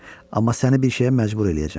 Amma səni bir şeyə məcbur eləyəcəm.